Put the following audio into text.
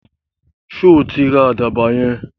Sọ tí ra àdàbà yẹn?